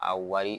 A wari